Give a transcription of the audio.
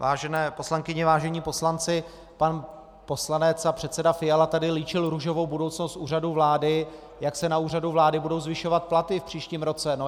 Vážené poslankyně, vážení poslanci, pan poslanec a předseda Fiala tady líčil růžovou budoucnost Úřadu vlády, jak se na Úřadu vlády budou zvyšovat platy v příštím roce.